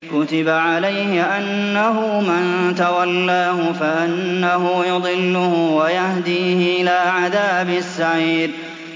كُتِبَ عَلَيْهِ أَنَّهُ مَن تَوَلَّاهُ فَأَنَّهُ يُضِلُّهُ وَيَهْدِيهِ إِلَىٰ عَذَابِ السَّعِيرِ